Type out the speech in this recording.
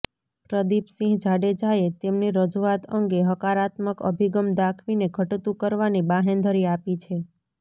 પ્રદિપસિંહ જાડેજાએ તેમની રજૂઆત અંગે હકારાત્મક અભિગમ દાખવીને ઘટતું કરવાની બાંહેધરી આપી છે